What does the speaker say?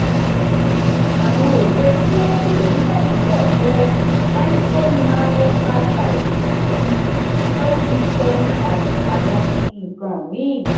um àwọn èlò ṣimẹntì ní naijirìa jẹ́ limestone marl calcite um shale gypsum àti àwọn nkan mìí.